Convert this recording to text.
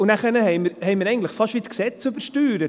Und dann haben wir eigentlich das Gesetz fast wie übersteuert.